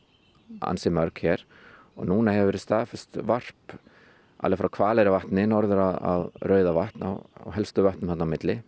ansi mörg hér núna hefur verið staðfest varp á alveg frá Hvaleyrarvatni norður á Rauðavatn og helstu vötnin þarna á milli